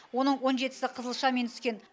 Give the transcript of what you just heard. оның он жетісі қызылшамен түскен